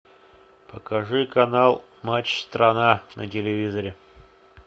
покажи канал матч страна на телевизоре